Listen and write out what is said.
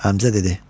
Həmzə dedi: